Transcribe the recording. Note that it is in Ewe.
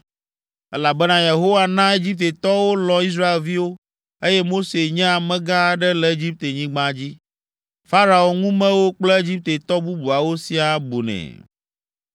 Elabena Yehowa na Egiptetɔwo lɔ̃ Israelviwo, eye Mose nye amegã aɖe le Egiptenyigba dzi; Farao ŋumewo kple Egiptetɔ bubuawo siaa bunɛ.